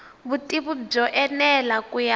vutivi byo enela ku ya